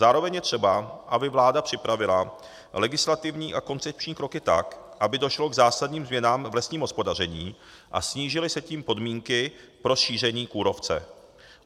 Zároveň je třeba, aby vláda připravila legislativní a koncepční kroky tak, aby došlo k zásadním změnám v lesním hospodaření a snížily se tím podmínky pro šíření kůrovce.